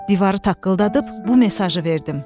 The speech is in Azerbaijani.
Divarı taqqıldadıb bu mesajı verdim.